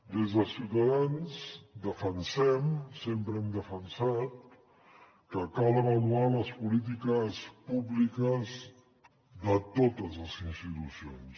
des de ciutadans defensem sempre ho hem defensat que cal avaluar les polítiques públiques de totes les institucions